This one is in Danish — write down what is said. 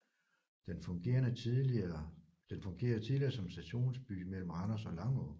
Den fungerede tidligere som stationsby mellem Randers og Langå